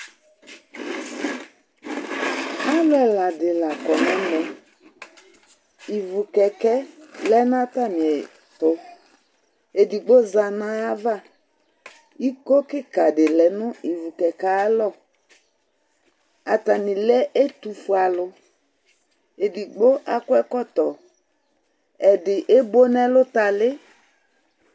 Alu ɛla di la kɔ nu ɛmɛ, ivukɛkɛ lɛ n'atamìɛtu, edigbo za n'ayava, iko kika di lɛ nu ivukɛkɛ ayialɔ, atani lɛ ɛtufuealu, edigbo akɔ ɛkɔtɔ, edigbo ebo n'ɛlutali